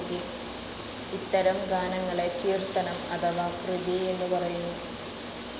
ഇത്തരം ഗാനങ്ങളെ കീർത്തനം അഥവാ കൃതി എന്ന് പറയുന്നു.